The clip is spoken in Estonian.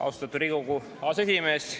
Austatud Riigikogu aseesimees!